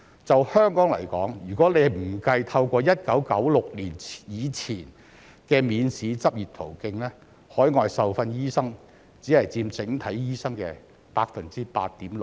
就香港來說，如果不計透過1996年以前的免試執業途徑，海外受訓醫生只佔整體醫生的 8.6%。